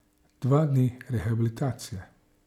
Dva dni rehabilitacije.